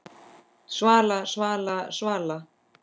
Svala, Svala, Svala!